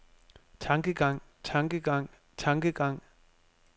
tankegang tankegang tankegang